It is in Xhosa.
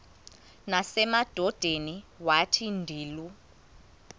nasemadodeni wathi ndilu